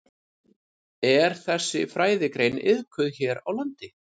Er þessi fræðigrein iðkuð hér á landi?